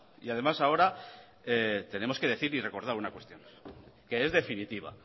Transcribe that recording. y además ahora tenemos que decir y recordar una cuestión que es definitiva